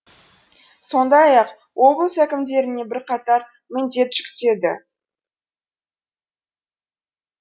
сондай ақ облыс әкімдеріне бірқатар міндет жүктеді